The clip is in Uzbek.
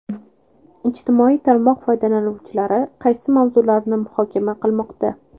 Ijtimoiy tarmoq foydalanuvchilari qaysi mavzularni muhokama qilmoqda?.